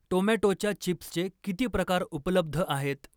टोमॅटोच्या चिप्सचे किती प्रकार उपलब्ध आहेत?